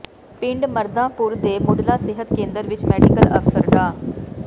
ਪਿੰਡ ਮਰਦਾਂਪੁਰ ਦੇ ਮੁੱਢਲਾ ਸਿਹਤ ਕੇਂਦਰ ਵਿੱਚ ਮੈਡੀਕਲ ਅਫਸਰ ਡਾ